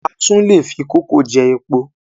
A tún lè fi kó kókò jẹ epo